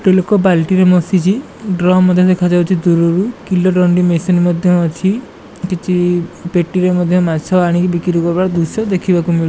ଗୋଟେ ଲୋକ ବାଲଟିରେ ମସିଚି । ଡ୍ରମ୍ ମଧ୍ୟ ଦେଖାଯାଉଚି ଦୂରୁରୁ‌ କିଲୋ ଦଣ୍ଡି ମେସିନ୍ ମଧ୍ୟ ଅଛି। କିଛି ପେଟିରେ ମଧ୍ୟ ମାଛ ଆଣିକି ବିକ୍ରି କରିବାର ଦୃଶ୍ୟ ଦେଖିବାକୁ ମିଳୁ --